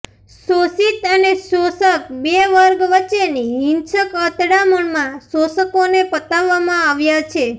શોષિત અને શોષક બે વર્ગ વચ્ચેની હિંસક અતડામણમાં શોષકોને પતાવવામાં આવ્યા છે